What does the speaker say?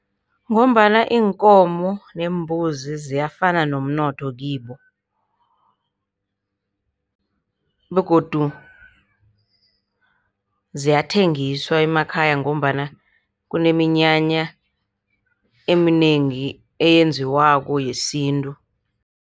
Ngombana iinkomo neembuzi ziyafana nomnotho kibo, begodu ziyathengiswa emakhaya ngombana kuneminyanya eminengi eyenziwako yesintu.